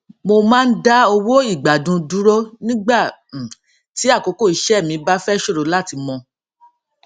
mo máa ń dá owó ìgbàdun dúró nígbà um tí àkókò iṣẹ mi bá fẹ ṣòro láti mọ